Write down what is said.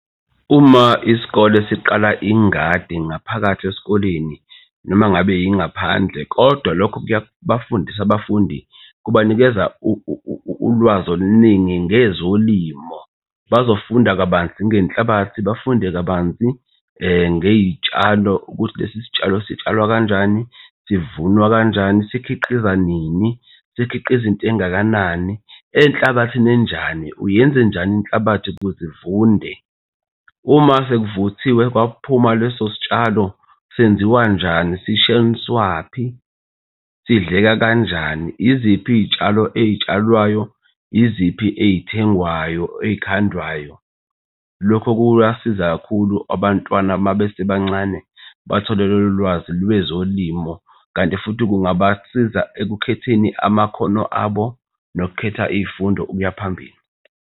Uma isikole siqala ingadi ngaphakathi esikoleni noma ngabe yingaphandle, kodwa lokho kuyaba bafundisa abafundi kubanikeza ulwazi oluningi ngezolimo. Bazofunda kabanzi ngenhlabathi bafunde kabanzi ngey'tshalo ukuthi lesi sitshalo sitshalwa kanjani, sivunwa kanjani, sikhiqiza nini, sikhiqiza into engakanani enhlabathini enjani? Uyenzenjani inhlabathi ukuze ivunde? Uma sekuvuthiwe kwakuphuma leso sitshalo senziwa njani? Sishoniswaphi? Sidleke kanjani? Iziphi izitshalo ey'tshalwayo? Iziphi ey'thengwayo ezikhandwayo? Lokho kuyasiza kakhulu abantwana uma besebancane bathole lolu lwazi lwezolimo, kanti futhi kungabasiza ekukhetheni amakhono abo nokukhetha iy'fundo ukuya phambili.